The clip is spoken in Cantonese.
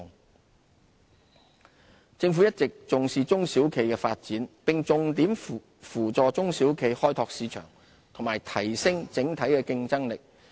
扶助中小企政府一直重視中小企的發展，並重點扶助中小企開拓市場和提升整體競爭力。